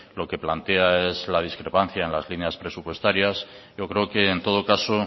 lo que plantea es la discrepancia en las líneas presupuestarias yo creo que en todo caso